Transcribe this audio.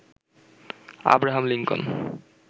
Abraham Lincoln